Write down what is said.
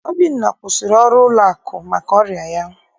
Obinna kwụsịrị ọrụ ụlọakụ maka ọrịa ya.